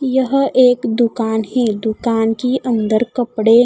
यह एक दुकान है दुकान की अंदर कपड़े--